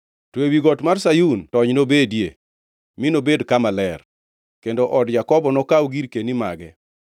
To ewi got mar Sayun tony nobedie, mi enobed kama ler, kendo od Jakobo nokaw girkeni mage.